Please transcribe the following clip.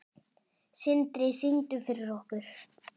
Sindri: Syngdu fyrir okkur?